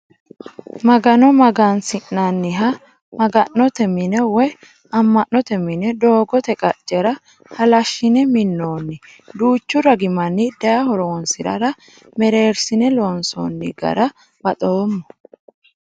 Magano magansi'nanniha maga'note mine woyi ama'note mine doogote qaccera halashine minonni duuchu ragi manni daye horonsirara merersine loonsonni gara baxoommo.